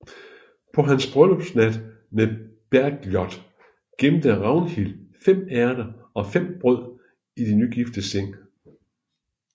På hans bryllupsnat med Bergljot gemte Ragnhild fem ærter og fem brød i de nygiftes seng